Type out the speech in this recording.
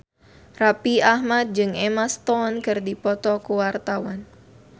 Raffi Ahmad jeung Emma Stone keur dipoto ku wartawan